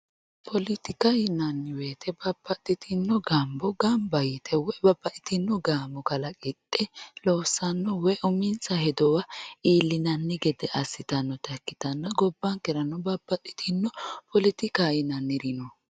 politika yinanni woyiite babbaxxitino gambo ganba yite woy babbaxxitinno gaamo kalaqidhe loossanno woy uminsa hedowa iillinanno gede assitannota ikkitanna gobbankerano babbaxxitino politikaho yinanniri no.